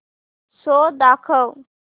show दाखव